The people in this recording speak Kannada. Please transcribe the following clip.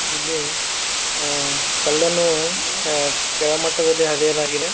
ಇಲ್ಲಿ ಅಹ್ ಕಲ್ಲನ್ನು ಅಹ್ ಕೆಳಮಟ್ಟದಲ್ಲಿ ಅದೇನಾಗಿದೆ.